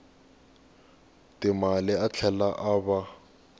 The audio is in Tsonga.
timali a tlhela a va